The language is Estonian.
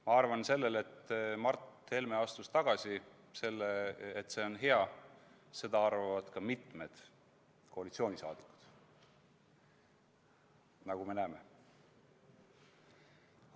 Ma arvan, et seda, et Mart Helme tagasiastumine on hea, arvavad ka mitmed koalitsiooni liikmed, nagu me näeme.